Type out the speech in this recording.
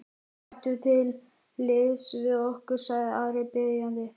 Gakktu til liðs við okkur, sagði Ari biðjandi.